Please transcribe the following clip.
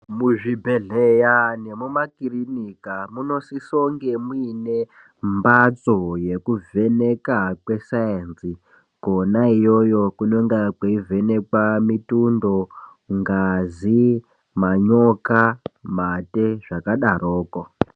Muzvibhedhleya nemumakirinika munosisa kunge muine mphatso yekuvheneka kwe sainzi kona iyoyo kunonga kweivhenekwa mitundo, ngazi, manyoka , mate zvakadaroko.